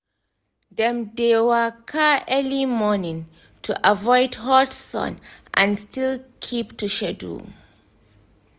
dem dey waka early morning to avoid hot sun and still keep to schedule